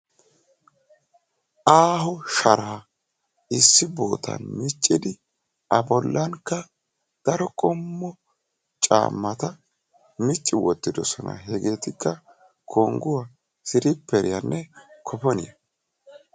Aaho sharaa issi boottan miccidi a bolankka daro qommo caammata micci wottidosona. hegeekka kongguwaa siriperiyaanne koponiyaa.